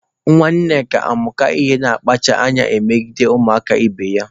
Nwa Nneka amụka ị na-akpacha anya emegide ụmụaka ibe ya.